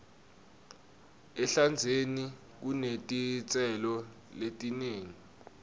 ehlandzeni kunetitselo letinengi